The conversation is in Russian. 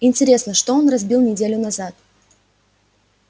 интересно что он разбил неделю назад